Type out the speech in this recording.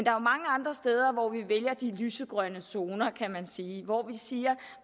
er mange andre steder hvor vi vælger de lysegrønne zoner kan man sige hvor vi siger